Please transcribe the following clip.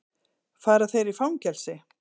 Fara þeir í fangelsi?